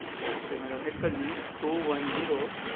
Ok madam એક જ minute two two one zero